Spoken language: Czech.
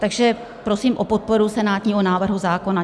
Takže prosím o podporu senátního návrhu zákona.